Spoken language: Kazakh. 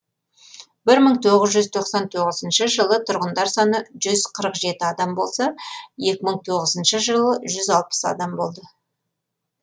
бір мың тоғыз жүз тоқсан тоғызыншы жылы тұрғындар саны жүз қырық жеті адам болса екі мың тоғызыншы жылы жүз алпыс адам болды